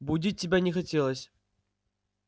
будить тебя не хотелось